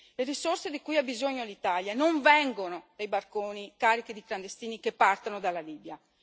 Le risorse di cui ha bisogno l'Italia non vengono dai barconi carichi di clandestini che partono dalla Libia.